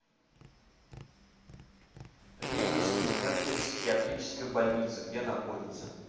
ленинск кузнецкая психиатрическая больница где находится